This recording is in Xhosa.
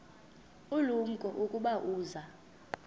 ulumko ukuba uza